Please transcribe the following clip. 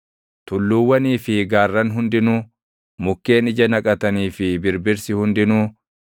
tulluuwwanii fi gaarran hundinuu, mukkeen ija naqatanii fi birbirsi hundinuu,